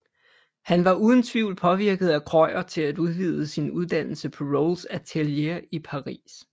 Han var uden tvivl påvirket af Krøyer til at udvide sin uddannelse på Rolls atelier i Paris